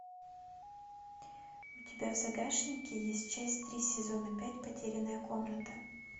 у тебя в загашнике есть часть три сезона пять потерянная комната